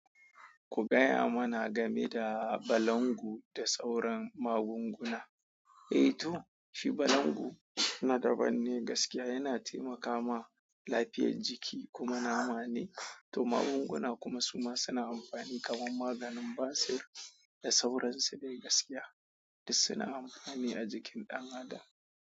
Ku gaya mana game da balangu da sauran magunguna. Eh to, shi balangu na daban ne gaskiya, yana taimakama lafiyar jiki kuma nama ne, to magunguna kuma su ma suna amfani kamar maganin basir da sauransu dai gaskiya suna amfani a jikin ɗan adam.